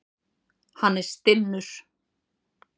Hann er stinnur.